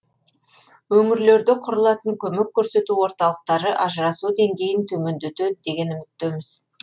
өңірлерде құрылатын көмек көрсету орталықтары ажырасу деңгейін төмендетеді деген үміттеміз